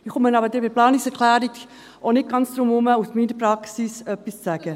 Ich komme aber bei der Planungserklärung auch nicht ganz darum herum, aus meiner Praxis etwas zu sagen.